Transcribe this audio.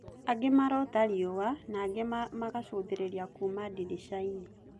Angĩ marota riua ,na angĩ magacũthereria kuuma diricainĩ